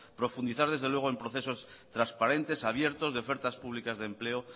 profundizar desde luego en procesos transparentes abiertos de ofertas públicas de empleo